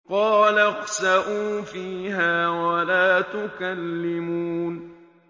قَالَ اخْسَئُوا فِيهَا وَلَا تُكَلِّمُونِ